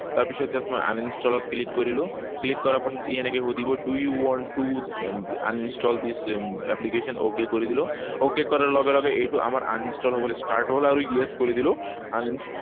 তাৰপিছত ইয়াত মই uninstall ত click কৰিলো। Click কৰাৰ পিছত ই এনেকে সুধিব do you want to uninstall this application? Okay কৰি দিলো। Okay কৰাৰ লগে লগে এইটো আমাৰ uninstall হবলৈ start হল আৰু yes কৰি দিলো।